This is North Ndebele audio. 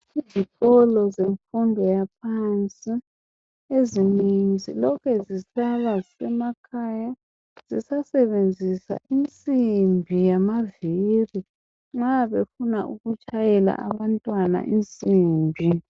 Izikolo zemfundo yaphansi ezinengi zilokhe zisaba zisemakhaya zisasebenzisa imsimbi yamaviri nxa befuna ukutshayela abantwana insimbi.